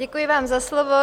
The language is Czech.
Děkuji vám za slovo.